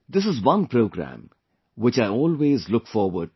This is one program, which I always look forward to